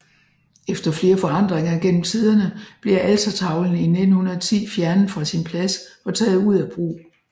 Efter flere forandringer gennem tiderne bliver altertavlen i 1910 fjernet fra sin plads og taget ud af brug